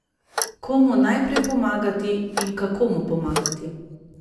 Komu najprej pomagati in kako mu pomagati?